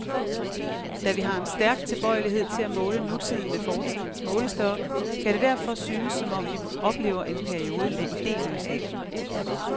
Da vi har en stærk tilbøjelighed til at måle nutiden med fortidens målestok, kan det derfor synes, som om vi oplever en periode med ideløshed.